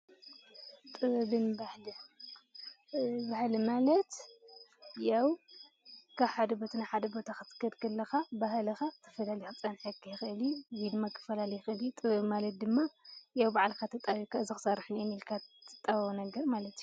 ጥበብን ባህልን፡- ባህሊ ማለት ያው ካብ ሓደ ቦታ ናብ ሓደ ቦታ ክትከድ ከለካ ባህልካ ተፈላለዩ ክፀንሓካ ይክእል እዩ ፡፡ እዚ ድማ ክፈላለ ይክእል እዩ፡፡ ጥበብ ማለት ድማ ያው ባዕልካ ተጣቢብካ እዚ ክሰርሕ ኢኒአኒ ኢልካ ባዕልካ እትጣበቦ ማለት እዩ፡፡